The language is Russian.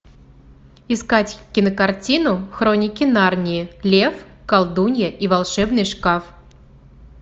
искать кинокартину хроники нарнии лев колдунья и волшебный шкаф